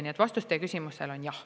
Nii et vastus teie küsimusele on jah.